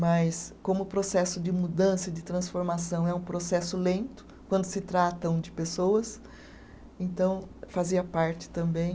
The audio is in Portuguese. Mas, como o processo de mudança e de transformação é um processo lento, quando se tratam de pessoas, então fazia parte também